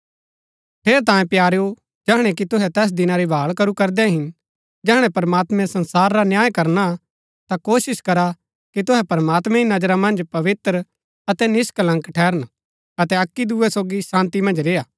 ठेरैतांये प्यारेओ जैहणै कि तुहै तैस दिना री भाळ करू करदै हिन जैहणै प्रमात्मैं संसार रा न्याय करना ता कोशिश करा कि तुहै प्रमात्मैं री नजरा मन्ज पवित्र अतै निष्कलंक ठहरन अतै अक्की दूये सोगी शान्ती मन्ज रेय्आ